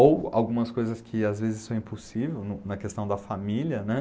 Ou algumas coisas que às vezes são impossíveis na questão da família, né?